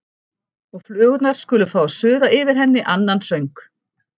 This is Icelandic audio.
Og flugurnar skulu fá að suða yfir henni annan söng.